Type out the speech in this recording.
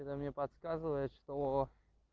это мне подсказывает что